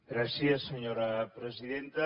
gràcies senyora presidenta